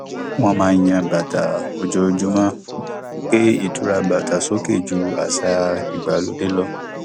wọn máa ń yan bàtà ojoojúmọ gbé ìtura bàtà sókè jú àṣà ìgbàlódé lọ